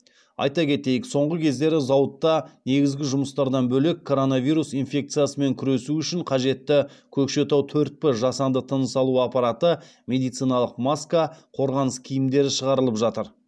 айта кетейік соңғы кездері зауытта негізгі жұмыстардан бөлек коронавирус инфекциясымен күресу үшін қажетті көкшетау төрт п жасанды тыныс алу аппараты медициналық маска қорғаныс киімдері шығарылып жатыр